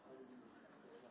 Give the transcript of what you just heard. İkinci hissəni bilməlisən.